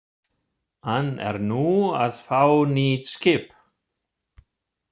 Hann er nú að fá nýtt skip.